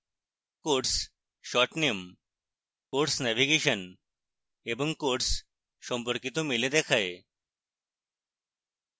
course short name course navigation এবং course সম্পর্কিত মেলে দেখায়